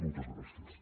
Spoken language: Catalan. moltes gràcies